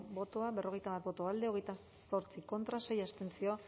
bozka berrogeita bat boto alde hogeita zortzi contra sei abstentzio